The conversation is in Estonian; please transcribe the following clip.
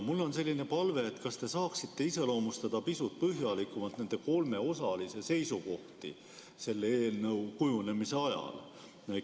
Mul on selline palve: kas te saaksite pisut põhjalikumalt iseloomustada nende kolme osalise seisukohti selle eelnõu kujunemise ajal?